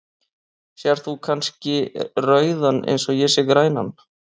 Sérð þú kannski rauðan eins og ég sé grænan?.